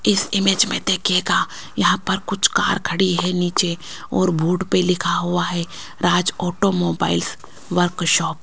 इस इमेज में देखिएगा यहां पर कुछ कार खड़ी है नीचे और बूट पे लिखा हुआ है राज ऑटो मोबाइल्स वर्कशॉप --